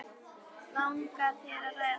Langar þér að ræða það?